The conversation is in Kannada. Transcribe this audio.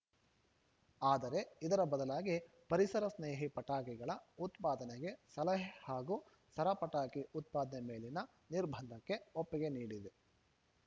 ಆದರೆ ಇದರ ಬದಲಾಗಿ ಪರಿಸರ ಸ್ನೇಹಿ ಪಟಾಕಿಗಳ ಉತ್ಪಾದನೆಗೆ ಸಲಹೆ ಹಾಗೂ ಸರ ಪಟಾಕಿ ಉತ್ಪಾದನೆ ಮೇಲಿನ ನಿರ್ಬಂಧಕ್ಕೆ ಒಪ್ಪಿಗೆ ನೀಡಿದೆ